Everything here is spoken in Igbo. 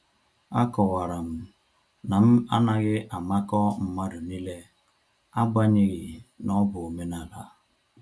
A kọwara m na m anaghị amakọ mmadụ niile, agbanyeghi na-ọ bụ omenala